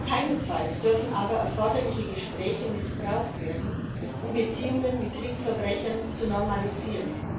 Keinesfalls dürfen aber die erforderlichen Gespräche dazu missbraucht werden, Beziehungen mit Kriegsverbrechern zu normalisieren.